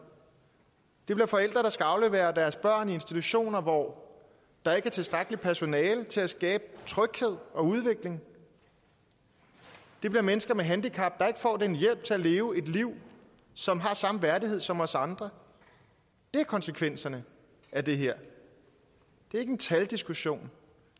det bliver forældre der skal aflevere deres børn i institutioner hvor der ikke er tilstrækkeligt personale til at skabe tryghed og udvikling det bliver mennesker med handicap der ikke får den hjælp til at leve et liv som har samme værdighed som os andre det er konsekvenserne af det her det er ikke en taldiskussion